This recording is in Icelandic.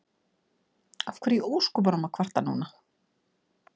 Af hverju í ósköpunum að kvarta núna?